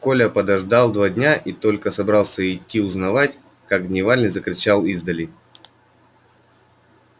коля подождал два дня и только собрался идти узнавать как дневальный закричал издали